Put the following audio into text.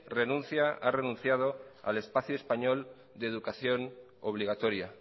renuncia ha renunciado al espacio español de educación obligatoria